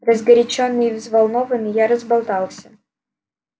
разгорячённый и взволнованный я разболтался